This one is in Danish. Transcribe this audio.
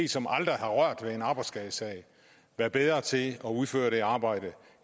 som aldrig har rørt ved en arbejdsskadesag være bedre til at udføre det arbejde